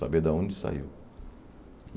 Saber da onde saiu.